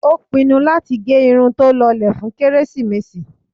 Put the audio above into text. Ó pinnu láti gẹ irun tó lọlẹ̀ fún kérésìmesì.